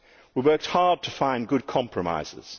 We worked hard to find good compromises.